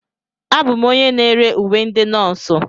Abụ m onye na-ere uwe ndị nọọsụ.